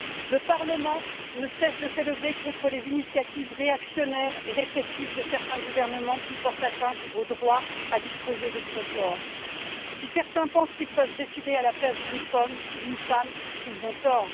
Le Parlement ne cesse de s'élever contre les initiatives réactionnaires et répressives de certains gouvernements qui portent atteinte au droit à disposer de son corps. Si certains pensent qu'ils peuvent décider à la place d'une femme, ils ont tort.